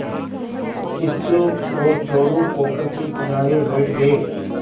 किच्चू और चोरु पोखर के किनारे बैठ गए